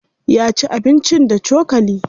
Ya ci abincin da cokali.